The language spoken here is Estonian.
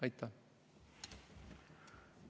Aitäh!